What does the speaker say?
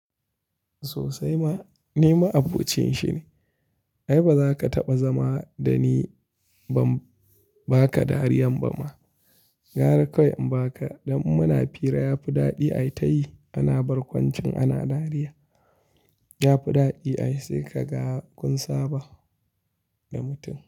Sosai ma, ni ma abocin shi ne. Ai ba za ka taɓa zama da ni ba, ba ka dariyan ba ma. Gara kawai inba ka, don in muna fira ya fi daɗi ai ta yi. Ana barkwancin ana dariya, ya fi daɗi ai sai ka ga kunsaba da mutum.